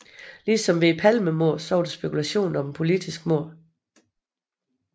Ligesom ved Palmemordet var der spekulation om et politisk mord